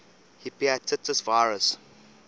hepatitis virus